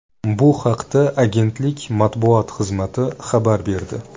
Bu haqda agentlik matbuot xizmati xabar berdi.